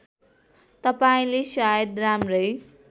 तपाईँले सायद राम्रै